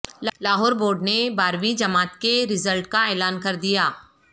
Lahore board نے بارہویں جماعت کے زرلٹ کا اعلان کردیا